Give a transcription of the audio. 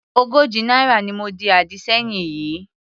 Ogójì náírà ni mo di àdì sẹ́yìn yìí.